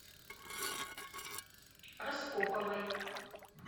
распоповой